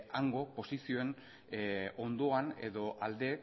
hango posizioen ondoan edo alde